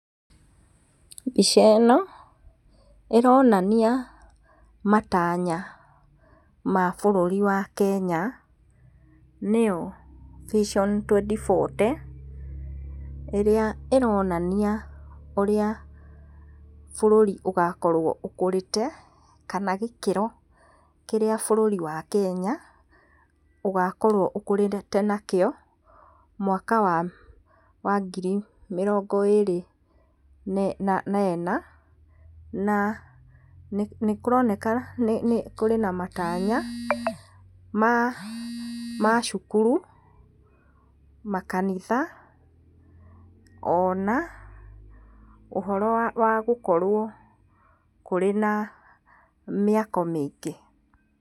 Mbica ĩno ĩronania matanya ma bũrũri wa Kenya, nĩyo Vision 2040, ĩrĩa ĩronania ũrĩa bũrũri ũgakorwo ũkũrĩte kana gĩkĩro kĩrĩa bũrũri wa Kenya ũgakorwo ũkũrĩte nakĩo, mwaka wa ngiri mĩrongó ĩrĩ na ĩna, na nĩ kũroneka kũrĩ na matanya ma cukuru, makanitha ona ũhoro wa gũkorwo kũrĩ na mĩako mĩingĩ.